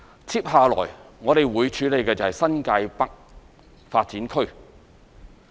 接下來，我們會處理新界北發展區。